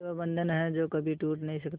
ये वो बंधन है जो कभी टूट नही सकता